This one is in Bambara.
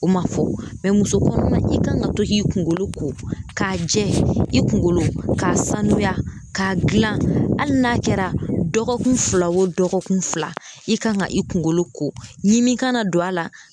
O ma fɔ musokɔnɔma i kan ka to k'i kungolo ko jɛ, i kunkolo k'a sanuya k'a dilan hali n'a kɛra dɔgɔkun fila o dɔgɔkun fila, i kan ka i kunkolo ko ɲini kana don a la.